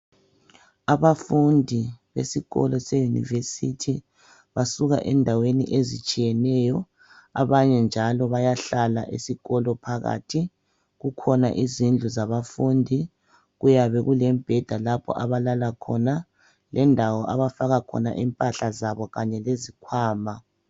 Abafundi besikolo seYunivesi basuka endaweni ezitshiyeneyo. Abanye njalo bayahlala esikolo phakathi. Kukhona izindlu zabafundi, kuyabe kulemibheda lapho abalala khona lendawo abafaka khona impahla zabo kanye lezikhwama.